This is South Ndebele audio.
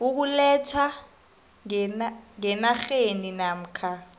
ukulethwa ngenarheni namkha